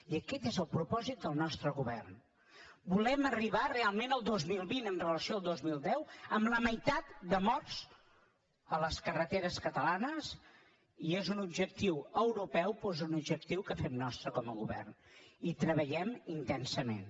i aquest és el propòsit del nostre govern volem arribar realment al dos mil vint amb relació al dos mil deu amb la meitat de morts a les carreteres catalanes i és un objectiu europeu però és un objectiu que fem nostre com a govern i hi treballem intensament